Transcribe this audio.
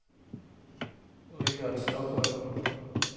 Richard Stokholm